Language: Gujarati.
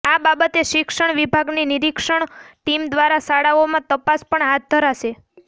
આ બાબતે શિક્ષણ વિભાગની નિરીક્ષણ ટીમ દ્વારા શાળાઓમાં તપાસ પણ હાથ ધરાશે